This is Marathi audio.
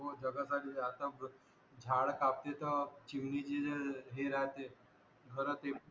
हो जगासाठीच आहे आता झाडा कापते त चिमणीचे जे हे राहते घर ते